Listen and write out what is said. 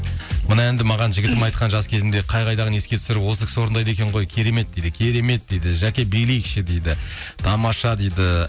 мына әнді маған жігітім айтқан жас кезінде қай қайдағыны еске түсіріп осы кісі орыдайды екен ғой керемет дейді керемет дейді жәке билейікші дейді тамаша дейді